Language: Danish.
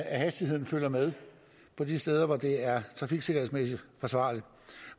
at hastigheden følger med på de steder hvor det er trafiksikkerhedsmæssigt forsvarligt